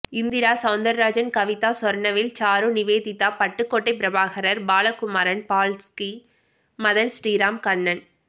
Indira Soundararajan Kavitha Sornavel Charu Nivedita Pattukottai Prabhakar Balakumaran Baski Madhan Sriram Kannan